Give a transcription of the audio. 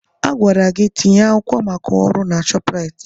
A gwara gị ka ị tinye akwụkwọ maka ọrụ na Shopraịt!